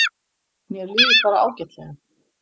Mér líður bara ágætlega.